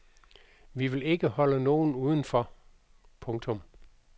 Vi vil ikke holde nogen udenfor. punktum